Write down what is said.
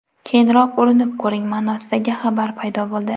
Keyinroq urinib ko‘ring”, ma’nosidagi xabar paydo bo‘ldi.